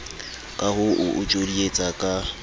ka ho o tjodietsa ka